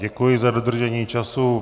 Děkuji za dodržení času.